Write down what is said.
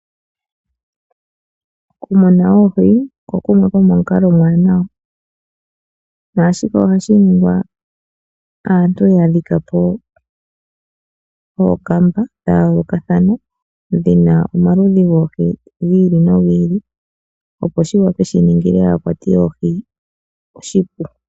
Okumuna oohi oko kumwe komomikalo oombwaanawa, naashika ohashi ningwa aantu ya dhika po ookamba dha yoolokathana dhi na oohi dhi ili nodhi ili opo shi ningile aakwati yoohi oshipu.